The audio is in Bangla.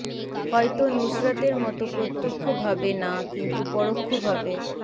হয়তো নুসরাতের মতো প্রতক্ষ ভাবে না কিন্তু পরোক্ষ ভাবে